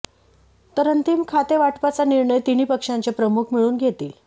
तर अंतिम खातेवाटपाचा निर्णय तिन्ही पक्षांचे प्रमुख मिळून घेतील